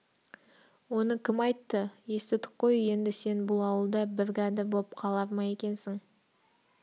оны кім айтты естідік қой енді сен бұл ауылда біргәдір боп қалар ма екенсің